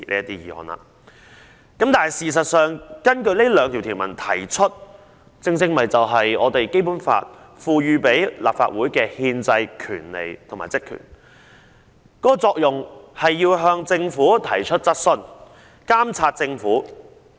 但是，事實上，根據上述兩項條文動議的議案，正正是《基本法》賦予立法會的憲制權利和職權，藉以向政府提出質詢和監察政府。